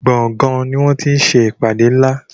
gboôgan ní wón tí ṣe ìpàdé nlá.